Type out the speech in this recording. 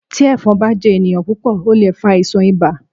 Tí Ẹ̀fọn bá jẹ ènìyàn púpọ̀ ó lè fa àìsàn ibà.